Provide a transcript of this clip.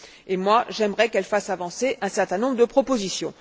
J'aimerais quant à moi qu'elle fasse avancer un certain nombre de propositions.